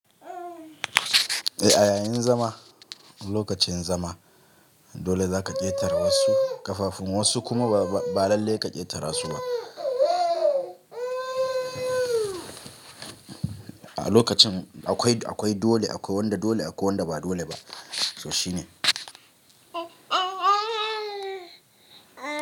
Eh, a yayin zama, lokacin zama dole za ka ƙetare wasu kafafun, wasu kuma ba lallai ka ƙetara su ba. A lokacin akwai dole, akwai wanda dole, akwai wanda ba dole ba. To shi ne.